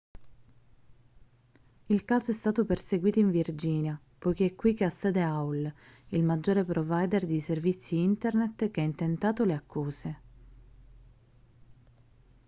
il caso è stato perseguito in virginia poiché è qui che ha sede aol il maggiore provider di servizi internet che ha intentato le accuse